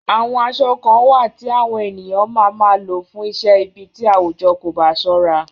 Àwọn aṣọ kan wà tí àwọn ènìyàn máa máa lò fún iṣẹ́ ibí tí àwùjọ kò bá ṣọ́ra.